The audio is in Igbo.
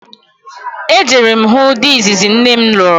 E jere m hụ di izizi nne m lụrụ